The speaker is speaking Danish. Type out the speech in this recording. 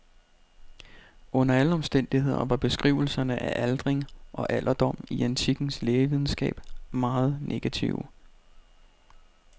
Under alle omstændigheder var beskrivelserne af aldring og alderdom i antikkens lægevidenskab meget negative.